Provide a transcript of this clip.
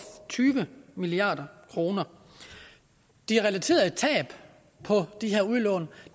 tyve milliard kroner de relaterede tab på de her udlån